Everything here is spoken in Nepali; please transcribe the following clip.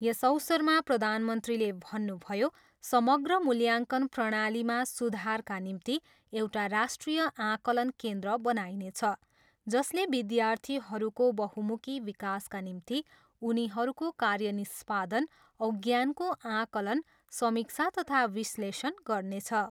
यस अवसरमा प्रधानमन्त्रीले भन्नुभयो, समग्र मूल्याङ्कन प्रणालीमा सुधारका निम्ति एउटा राष्ट्रिय आकलन केन्द्र बनाइनेछ जसले विद्यार्थीहरूको बहुमुखी विकासका निम्ति उनीहरूको कार्य निष्पादन औ ज्ञानको आकलन, समीक्षा तथा विश्लेषण गर्नेछ।